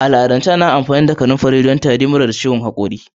A al'adance ana amfani da kanafari don magance tari, mura, da ciwon hakori.